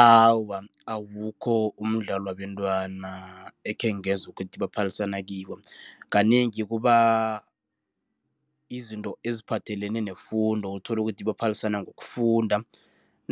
Awa, awukho umdlalo wabentwana ekhengezwa ukuthi baphalisana kiwo. Kanengi kuba izinto eziphathelene nefundo, uthola ukuthi baphalisana ngokufunda